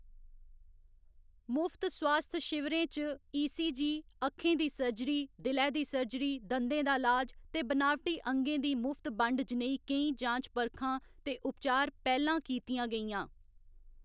मुफ्त सोआस्थ शिविरें च ई. सी. जी., अक्खें दी सर्जरी, दिलै दी सर्जरी, दंदें दा इलाज ते बनावटी अंगें दी मुफ्त बंड जनेही केईं जांच परखां ते उपचार पैह्‌लां कीतियां गेइयां।